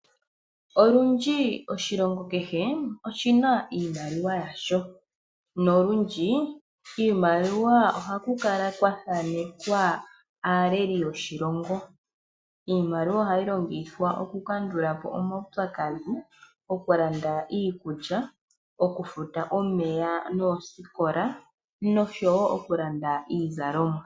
Olundji, oshilongo kehe oshi na iimaliwa yasho. Nolundji, kiimaliwa ohaku kala kwa thanekwa aaleli yoshilongo. Iimaliwa ohayi longithwa okukandula po omaupyakadhi, okulanda iikulya, okufuta omeya noosikola, nosho wo okulanda iizalomwa.